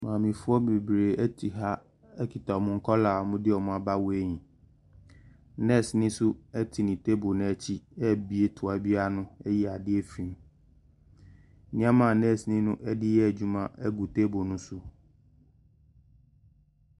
Maamefoɔ bebree te ha kita wɔn nkwadaa a wɔde wwɔn aba weighing. Nɛɛseni nso te ne table no akyi rebue toa bi ano ayi adeɛ afiri mu. Nneɛma a nɛɛseni no de reyɛ adwuma gu table no so.